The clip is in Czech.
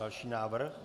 Další návrh.